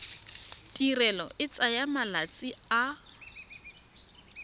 tirelo e tsaya malatsi a